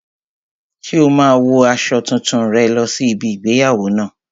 Ṣé o máa wo aṣọ tuntun rẹ lọ sí ibi igbéyàwó náà?